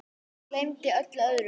Gleymdi öllu öðru.